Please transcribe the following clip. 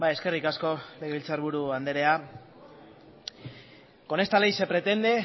eskerrik asko legebiltzar buru anderea con esta ley se pretende